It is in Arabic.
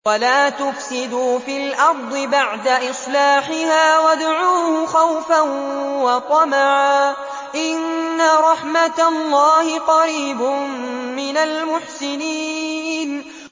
وَلَا تُفْسِدُوا فِي الْأَرْضِ بَعْدَ إِصْلَاحِهَا وَادْعُوهُ خَوْفًا وَطَمَعًا ۚ إِنَّ رَحْمَتَ اللَّهِ قَرِيبٌ مِّنَ الْمُحْسِنِينَ